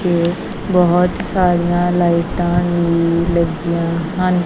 ਤੇ ਬਹੁਤ ਸਾਰੀਆਂ ਲਾਈਟਾਂ ਵੀ ਲੱਗੀਆਂ ਹਨ।